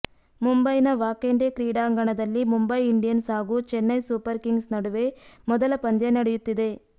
ಮುಂಬೈನ ವಾಖೆಂಡೆ ಕ್ರೀಡಾಂಗಣದಲ್ಲಿ ಮುಂಬೈ ಇಂಡಿಯನ್ಸ್ ಹಾಗೂ ಚೆನ್ನೈ ಸೂಪರ್ ಕಿಂಗ್ಸ್ ನಡುವೆ ಮೊದಲ ಪಂದ್ಯ ನಡೆಯುತ್ತಿದೆ